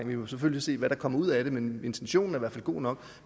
vi må selvfølgelig se hvad der kommer ud af det men intentionen er i hvert fald god nok